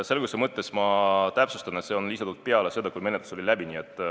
Selguse mõttes ma täpsustan, et see on lisatud peale seda, kui menetlus oli läbi.